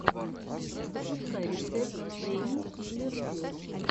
запускай рецепт пэйнкиллер филл